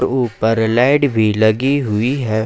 ऊपर लाइट भी लगी हुई है।